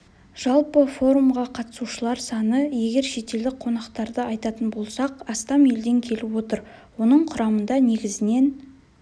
жалпы форумға қатысушылар саны егер шетелдік қонақтарды айтатын болсақ астам елден келіп отыр оның құрамында негізінен